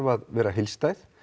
að vera heildstæð